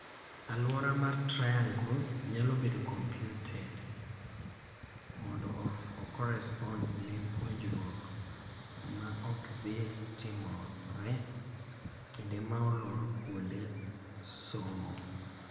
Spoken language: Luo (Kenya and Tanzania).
Aluora mar triangle nyalo bedo computed mondo o correspond ne puonjruok ma okdhii timore kinde ma olor kuonde somo.